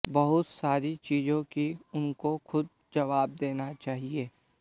बहुत सारी चीज़ों की उनको ख़ुद जवाब देना चाहिए